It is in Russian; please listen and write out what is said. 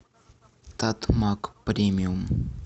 татмак премиум